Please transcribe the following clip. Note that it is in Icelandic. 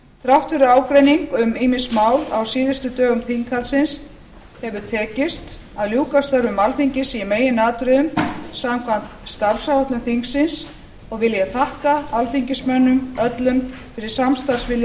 þrátt fyrir ágreining um ýmis mál á síðustu dögum þinghaldsins hefur tekist að ljúka störfum alþingis í meginatriðum samkvæmt starfsáætlun þingsins og vil ég þakka alþingismönnum öllum fyrir samstarfsvilja